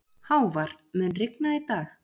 Hávar, mun rigna í dag?